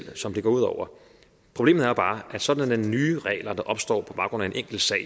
som det går ud over problemet er bare at sådanne nye regler der opstår på baggrund af en enkelt sag